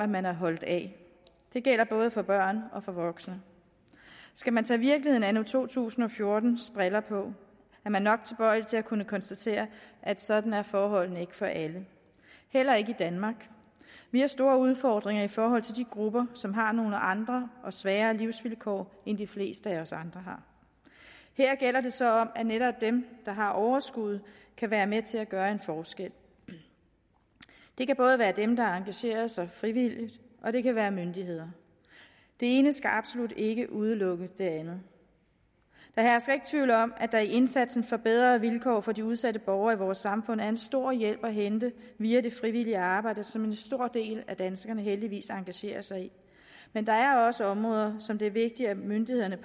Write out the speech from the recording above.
man er holdt af det gælder både for børn og for voksne skal man tage virkeligheden anno to tusind og fjorten briller på er man nok tilbøjelig til at kunne konstatere at sådan er forholdene ikke for alle heller ikke i danmark vi har store udfordringer i forhold til de grupper som har nogle andre og sværere livsvilkår end de fleste af os andre har her gælder det så om at netop dem der har overskuddet kan være med til at gøre en forskel det kan både være dem der engagerer sig frivilligt og det kan være myndigheder det ene skal absolut ikke udelukke det andet der hersker ikke tvivl om at der i indsatsen for bedre vilkår for de udsatte borgere i vores samfund er en stor hjælp at hente via det frivillige arbejde som en stor del af danskerne heldigvis engagerer sig i men der er også områder som det er vigtigt at myndighederne